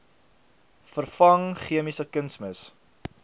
vervang chemiese kunsmis